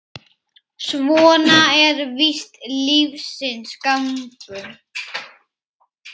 Svona er víst lífsins gangur.